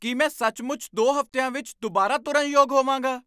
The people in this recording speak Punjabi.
ਕੀ ਮੈਂ ਸੱਚਮੁੱਚ ਦੋ ਹਫ਼ਤਿਆਂ ਵਿੱਚ ਦੁਬਾਰਾ ਤੁਰਨ ਯੋਗ ਹੋਵਾਂਗਾ?